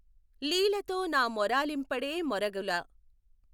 లీలతో నా మొఱాలింపడే మొఱగుల